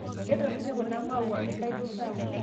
Ketaroite kuna mauani kaitura